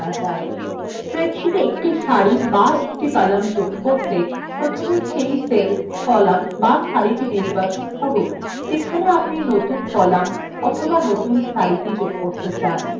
স্প্রেডশীটে একটি সারি be একটি column যোগ করতে প্রথমে cell cell column be সারি নির্বাচন করুন যেখানে আপনি নতুন column অথবা একটি নতুন সারি যুক্ত করতে চান